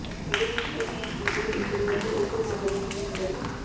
బజరంగ్ పూనియా ఈ పేరు ఇప్పటి వరకు ఎప్పుడు పెద్దగా విని ఉండరు